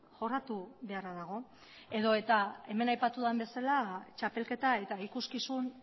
jorratu beharra dago edo eta hemen aipatu den bezala txapelketa eta ikuskizun